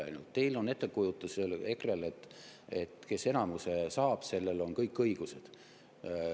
Ainult teil, EKRE-l, on ettekujutus, et kes enamuse saab, sellel on kõik õigused.